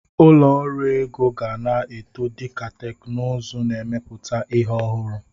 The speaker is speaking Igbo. Ụlọ ọrụ ego ga na-eto dịka teknụzụ n'emepụta ihi ọhụrụ.